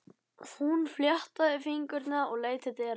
Hún fléttaði fingurna og leit til dyra.